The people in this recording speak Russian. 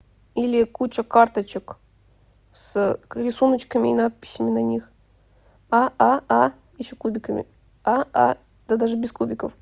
или куча карточек с рисуночками и надписями на них а а а ещё кубиками а а да даже без кубиков